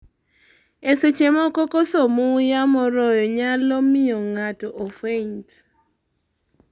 e seche mokokoso muya moroyo nyalo miyo ng'ato ofeint